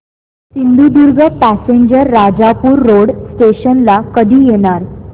Sindhudurg passenger Rajapur road station ला कधी येणार